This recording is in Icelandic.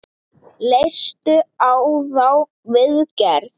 Leistu á þá viðgerð?